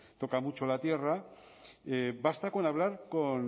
toca mucho la tierra basta con hablar con